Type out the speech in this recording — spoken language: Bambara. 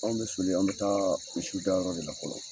Anw bɛ soli an bɛ taa misiw dayɔrɔ de la fɔlɔ.